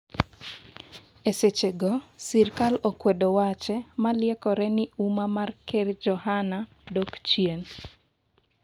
Esechego sirikal okwedo wache ma liekore ni umma mar ker Johana dok chien